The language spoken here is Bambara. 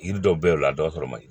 Yiri dɔw be ye o la a dɔw sɔrɔ man ɲi